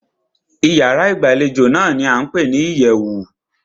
Ìyárá ìgbàlejò náà ní a ń pé ní ìyẹ̀wù.